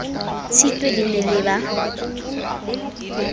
tshitwe le ne le ba